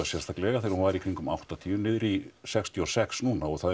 sérstaklega þegar hún var í kringum áttatíu niður í sextíu og sex núna og það